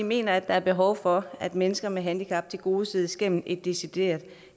mener at der er behov for at mennesker med handicap tilgodeses gennem et decideret